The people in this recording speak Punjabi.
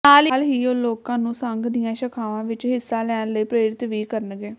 ਨਾਲ ਹੀ ਉਹ ਲੋਕਾਂ ਨੂੰ ਸੰਘ ਦੀਆਂ ਸ਼ਾਖਾਵਾਂ ਵਿੱਚ ਹਿੱਸਾ ਲੈਣ ਲਈ ਪ੍ਰੇਰਿਤ ਵੀ ਕਰਨਗੇ